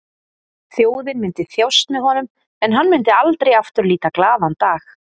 Þjóðin myndi þjást með honum en hann myndi aldrei aftur líta glaðan dag.